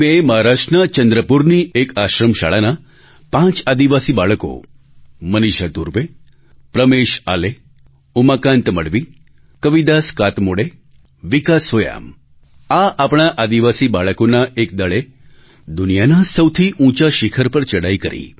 16 May એ મહારાષ્ટ્રના ચંદ્રપુરની એક આશ્રમ શાળાનાં પાંચ આદિવાસી બાળકોમનીષા ધુર્વે પ્રમેશ આલે ઉમાકાન્ત મડવી કવિદાસ કાતમોડે વિકાસ સોયામ આ આપણાં આદિવાસી બાળકોના એક દળે દુનિયાના સૌથી ઊંચા શિખર પર ચડાઈ કરી